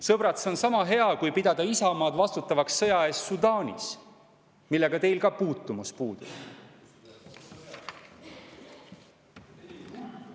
Sõbrad, see on sama hea, kui pidada Isamaad vastutavaks sõja eest Sudaanis, millega teil ka puutumus puudub.